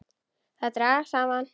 Þær dragast saman.